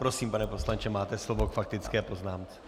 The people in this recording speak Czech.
Prosím, pane poslanče, máte slovo k faktické poznámce.